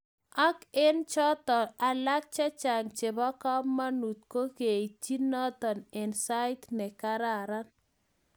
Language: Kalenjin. ak eng' choto alak chechang nebo kamangut ko keitchi noton eng sait ne kararan